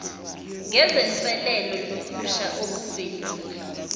ngezinselelo nokusha okuvelile